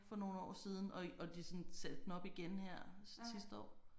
For nogle år siden og og de sådan satte den op igen her sidste år